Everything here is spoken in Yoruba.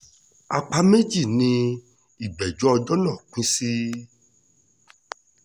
apá méjì ni ìgbẹ́jọ́ ọjọ́ náà pín sí